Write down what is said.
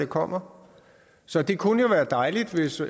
kommer så det kunne jo være dejligt hvis